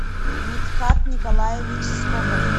митхат николаевич скоков